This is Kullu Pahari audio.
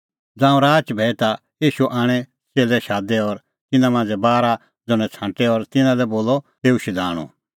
ज़ांऊं राच भैई ता ईशू आपणैं च़ेल्लै शादै और तिन्नां मांझ़ै बारा ज़ण्हैं छ़ांटै और तिन्नां लै बोलअ तेऊ शधाणूं